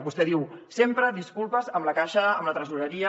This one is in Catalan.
vostè diu sempre disculpes amb la caixa amb la tresoreria